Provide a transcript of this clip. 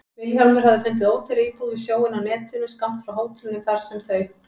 Vilhjálmur hafði fundið ódýra íbúð við sjóinn á netinu, skammt frá hótelinu þar sem þau